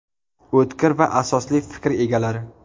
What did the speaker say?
O‘tkir va asosli fikr egalari.